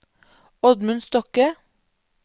Oddmund Stokke